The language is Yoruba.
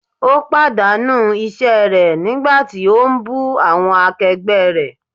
Ó pàdánù iṣẹ́ rẹ̀ nígbà tí ó ń bú awọn akẹgbẹ́ rẹ̀.